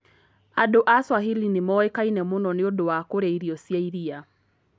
Andũ a Swahili nĩ moĩkaine mũno nĩ ũndũ wa kũrĩa irio cia iria.